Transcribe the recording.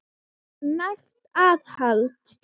Það eitt er nægt aðhald.